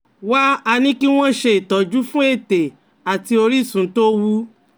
Wá a ní kí wọ́n ṣe ìtọ́jú fún ètè àti orísun tó wú